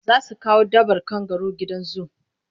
Za su kawo dabbar kangaru gidan zu.